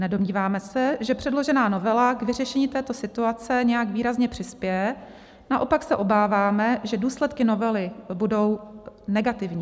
Nedomníváme se, že předložená novela k vyřešení této situace nějak výrazně přispěje, naopak se obáváme, že důsledky novely budou negativní.